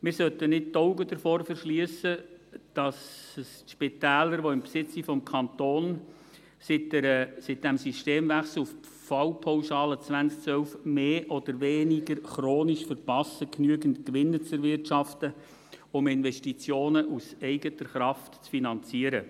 Wir sollten die Augen nicht davor verschliessen, dass es die Spitäler, die im Besitz des Kantons sind, seit dem Systemwechsel auf die Fallpauschale 2012 mehr oder weniger chronisch verpassen, genügend Gewinne zu erwirtschaften, um Investitionen aus eigener Kraft zu finanzieren.